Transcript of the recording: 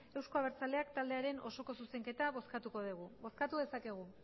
euzko abertzaleak taldearen osoko zuzenketa bozkatuko dugu bozkatu dezakegu